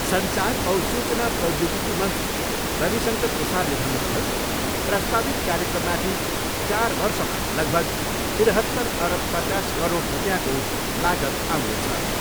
सञ्चार औ सूचना प्रौद्योगिकी मन्त्री रविशङ्कर प्रसादले भन्नुभयो, प्रस्तावित कार्यक्रममाथि चार वर्षमा लगभग तिरहत्तर अरब पचास करोड रुपियाँको लागत आउनेछ।